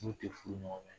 N'u tɛ furu ɲɔgɔn ma